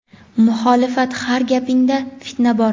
muxolifat har gapingda fitna bor.